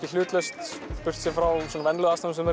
hlutlaust frá venjulegu aðstæðunum